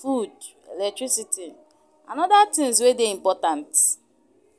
food, electricity, and oda tins wey dey important.